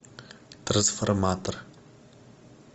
трансформатор